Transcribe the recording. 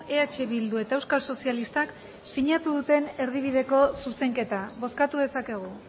eh bildu eta euskal sozialistak sinatu duten erdibideko zuzenketa bozkatu dezakegu